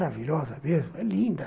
É maravilhosa mesmo, é linda.